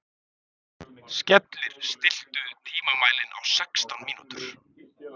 Skellir, stilltu tímamælinn á sextán mínútur.